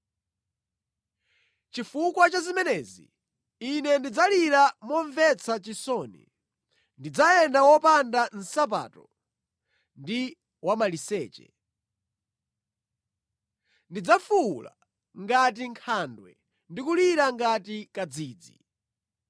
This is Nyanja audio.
Chifukwa cha zimenezi ine ndidzalira momvetsa chisoni; ndidzayenda wopanda nsapato ndi wamaliseche. Ndidzafuwula ngati nkhandwe ndi kulira ngati kadzidzi.